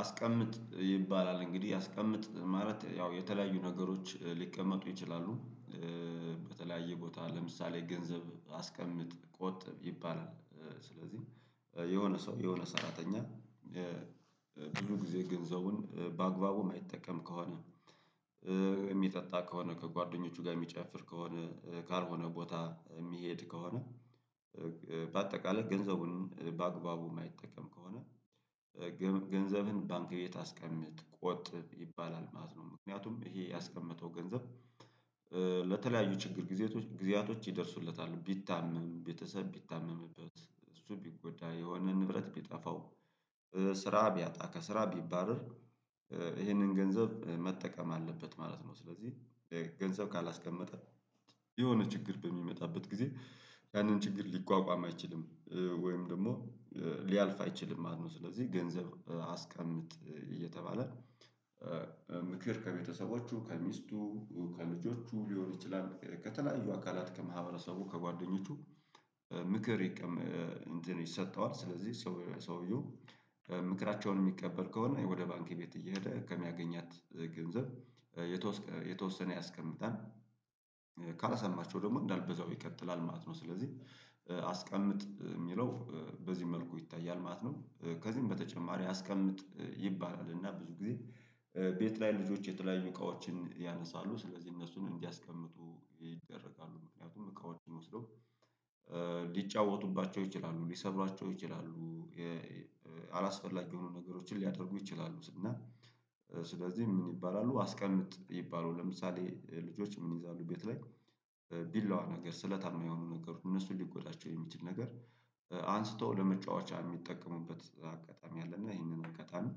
አስቀምጥ ይባላል እንግዲህ አስቀምጥ ማለት ያው የተለያዩ ነገሮች ሊቀመጡ ይችላሉ። በተለያየ ቦታ ለምሳሌ ገንዘብ አስቀምጥ ቆጥብ ይባላል ስለዚህ። የሆነ ሰው የሆነ ሰራተኛ ብዙ ጊዜ ገንዘቡን በአግባቡ የማይጠቀም ከሆነ። የሚጠጣ ከሆነ ከጓደኞቹ ጋር የሚጨፍር ከሆነ ካልሆነ ቦታ የሚሄድ ከሆነ። በአጠቃላይ ገንዘቡን በአግባቡ የማይጠቀም ከሆነ። ገንዘብን ባንክ ቤት አስቀምጥ ቆጥብ ይባላል ማለት ነው። ምክንያቱም ይሄ ያስቀመጠው ገንዘብ ለተለያዩ ችግር ጊዜያቶች ይደርሱለታል። ቢታመም ቤተሰብ ቢታመምበት እሱ ቢጎዳ የሆነ ንብረት ቢጠፋው። ስራ ቢያጣ ከስራ ቢባርር ይህንን ገንዘብ መጠቀም አለበት ማለት ነው። ስለዚህ ገንዘብ ካላስቀመጠ የሆነ ችግር በሚመጣበት ጊዜ ያንን ችግር ሊቋቋም አይችልም። ወይም ደግሞ ሊያልፍ አይችልም ማለት ነው። ስለዚህ ገንዘብ አስቀምጥ እየተባለ ምክር ከቤተሰቦቹ ከሚስቱ ከልጆቹ ሊሆን ይችላል። ከተለያዩ አካላት ከማህበረሰቡ ከጓደኞቹ ምክር ይሰጠዋል። ስለዚህ ሰውየው ምክራቸውን የሚቀበል ከሆነ ወደ ባንክ ቤት እየሄደ ከሚያገኛት ገንዘብ የተወሰነ ያስቀምጣል። ካልሰማቸው ደግሞ እንዳለ በዛው ይቀጥላል ማለት ነው። ስለዚህ አስቀምጥ ሚለው በዚህ መልኩ ይታያል ማለት ነው። ከዚህም በተጨማሪ አስቀምጥ ይባላል እና ብዙ ጊዜ ቤት ላይ ልጆች የተለያዩ እቃዎችን ያነሳሉ ስለዚህ እነሱን እንዲያስቀምጡ ይደረጋሉ። ምክንያቱም እቃው ወስደው ሊጫወቱባቸው ይችላሉ ሊሰብሯቸው ይችላሉ። አላስፈላጊ የሆኑ ነገሮችን ሊያደርጉ ይችላሉ። እና ስለዚህ ምን ይባላሉ አስቀምጥ ይባላሉ? ለምሳሌ ልጆች ምን ይይዛሉ ቤት ላይ ቢላዋ ነገር ስለታማ የሆኑ ነገር እነሱን ሊጎዳቸው የሚችል ነገር አንስተው ለመጫወቻ የሚጠቀሙበት አጋጣሚ አለ። እና ይሄንን ከጋጣሚ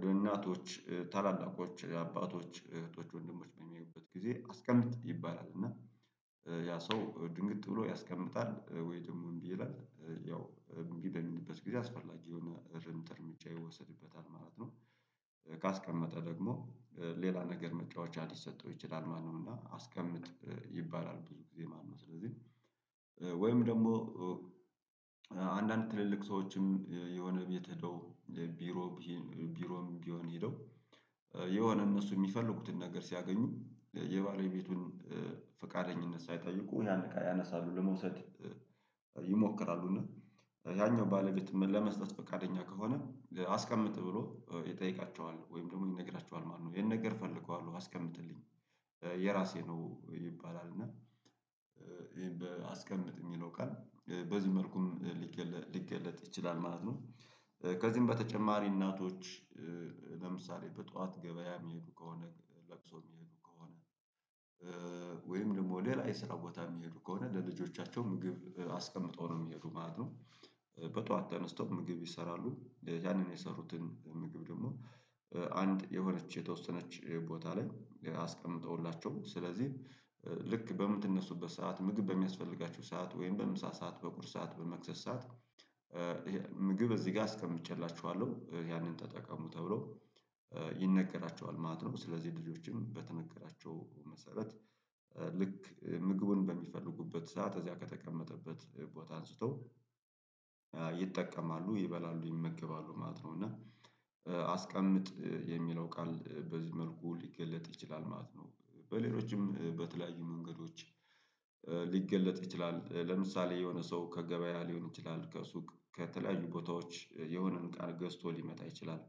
በናቶች ታላላቆች አባቶች እህቶች ወንድሞች በሚያዩበት ጊዜ አስቀምጥ ይባላል። እና ያ ሰው ድንግጥ ብሎ ያስቀምጣል ወይ ደግሞ እምቢ ይላል ያው እምቢ በሚልበት ጊዜ አስፈላጊ የሆነ ርምት እርምጃ ይወሰድበታል ማለት ነው። ካስቀመጠ ደግሞ ሌላ ነገር መጫወቻ ሊሰጠው ይችላል ማለት ነው። እና አስቀምጥ ይባላል ብዙ ጊዜ ማለት ነው። ስለዚህ ወይም ደግሞ አንዳንድ ትልልቅ ሰዎችም የሆነ ቤት ሄደው ቢሮ ቢሮም ቢሆን ሄደው የሆነ እነሱ የሚፈልጉትን ነገር ሲያገኙ የባለቤቱን ፍቃደኝነት ሳይጠይቁ ያን እቃ አነሳሉ ለመውሰድ ይሞክራሉ። እና ያኛው ባለቤት ለመስጠት ፈቃደኛ ከሆነ አስቀምጥ ብሎ ይጠይቃቸዋል ወይም ደግሞ ይነግራቸዋል ማለት ነው። ይሄን ነገር ፈልገዋለሁ አስቀምጥልኝ የራሴ ነው ይባላል። እና ይሄን በአስቀምጥ የሚለው ቀን በዚህ መልኩም ሊገለጥ ይችላል ማለት ነው። ከዚህም በተጨማሪ እናቶች ለምሳሌ በጧት ገበያ የሚሄዱ ከሆነ ለቅሶ የሚሄዱ ከሆነ ወይም ደግሞ ሌላ የስራ ቦታ የሚሄዱ ከሆነ ለልጆቻቸው ምግብ አስቀምጠው ነው የሚሄዱ ማለት ነው። በጧት ተነስቶ ምግብ ይሰራሉ ያንን የሰሩትን ምግብ ደግሞ አንድ የሆነች የተወሰነች ቦታ ላይ አስቀምጠውላቸው። ስለዚህ ልክ በምትነሱበት ሰዓት ምግብ በሚያስፈልጋችሁ ሰዓት ወይም በምሳ ሰዓት በቁርስ ሰዓት በመክሰስ ሰዓት ምግብ እዚህ ጋ አስቀምጬላቹኋለሁ ያንን ተጠቀሙ ተብሎ ይነገራችዋል ማለት ነው። ስለዚህ ልጆችም በተነገራቸው መሰረት ልክ ምግቡን በሚፈልጉበት ሰዓት እዚያ ከተቀመጠበት ቦታ አንስተው ይጠቀማሉ ይበላሉ ይመገባሉ ማለት ነው። እና አስቀምጥ የሚለው ቃል በዚህ መልኩ ሊገለጥ ይችላል ማለት ነው። በሌሎችም በተለያዩ መንገዶች ሊገለጥ ይችላል ለምሳሌ የሆነ ሰው ከገበያ ሊሆን ይችላል ከሱቅ ከተለያዩ ቦታዎች የሆነን ቃል ገዝቶ ሊመጣ ይችላል።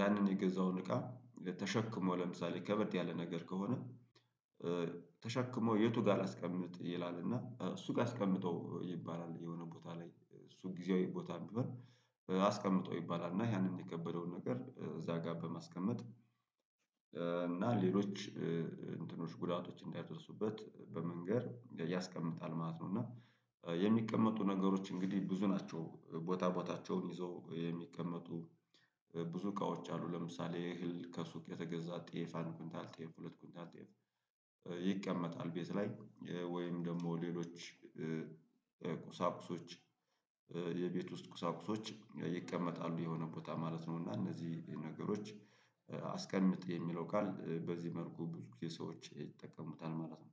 ያንን የገዛውን እቃ ተሸክሞ ለምሳሌ ከበድ ያለ ነገር ከሆነ ተሸክሞ የቱ ጋር ላስቀምጥ ይላል እና እሱ ጋ አስቀምጠው ይባላል። የሆነ ቦታ ላይ እሱ ጊዜያዊ ቦታ ቢሆን አስቀምጠው ይባላል። እና ያንን የከበደውን ነገር እዛ ጋ በማስቀመጥ እና ሌሎች እንትኖች ጉዳቶች እንዳይወስዱበት በመንገር ያስቀምጣል ማለት ነው። እና የሚቀመጡ ነገሮች እንግዲህ ብዙ ናቸው። ቦታ ቦታ ቦታቸውን ይዘው የሚቀመጡ ብዙ እቃዎች አሉ። ለምሳሌ እህል ከሱቅ የተገዛ ጤፍ አንድ ኩንታል ጤፍ ሁለት ኩንታል ጤፍ ይቀመጣል። ቤት ላይ ወይም ደግሞ ሌሎች ቁሳቁሶች የቤት ውስጥ ቁሳቁሶች ይቀመጣሉ የሆነ ቦታ ማለት ነው። እና እነዚህ ነገሮች አስቀምጥ የሚለው ቃል በዚህ መልኩ ብዙ ጊዜ ሰዎች ይጠቀሙታል ማለት ነው